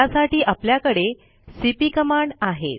त्यासाठी आपल्याकडे cp command आहे